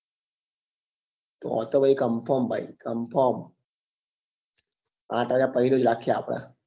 તો તો ભાઈ confirm ભા confirm આંઠ વાગ્યા પછી રાખીએ આપડે